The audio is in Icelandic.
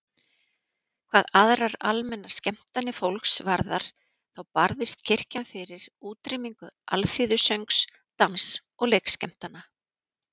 Hvað aðrar almennar skemmtanir fólks varðar þá barðist kirkjan fyrir útrýmingu alþýðusöngs, dans- og leikskemmtana.